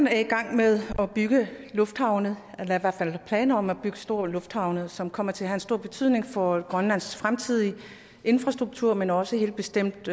er i gang med at bygge lufthavne eller har i hvert fald planer om at bygge store lufthavne som kommer til at have en stor betydning for grønlands fremtidige infrastruktur men også helt bestemt